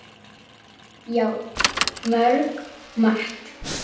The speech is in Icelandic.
Já, mjög margt.